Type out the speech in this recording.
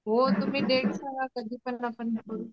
हो तुम्ही डेट सांगा कधीपण आपण करू.